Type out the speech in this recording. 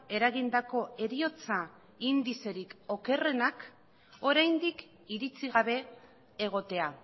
eragindako heriotza indizerik okerrenak oraindik iritzi gabe egotea